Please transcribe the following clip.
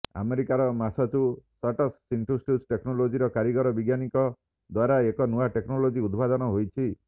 ଆମେରିକାର Massachusetts institute ଟେକ୍ନଲୋଜିର କାରଗିର ବିଜ୍ଞାନୀଙ୍କ ଦ୍ବାରା ଏକ ନୂଆ ଟେକ୍ନଲୋଜି ଉଦ୍ଭାବନ ହୋଇଛି